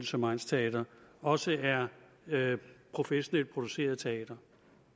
som egnsteatre også er professionelt produceret teater